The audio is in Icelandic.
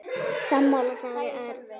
Sammála sagði Örn.